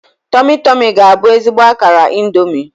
Tomi-Tomi ga-abụ ezigbo akara Indomi.